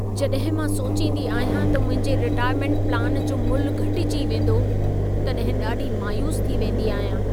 जॾहिं मां सोचींदी आहियां त मुंहिंजे रिटायरमेंट प्लान जो मुल्ह घटिजी वेंदो, तॾहिं ॾाढी मायूस थी वेंदी आहियां।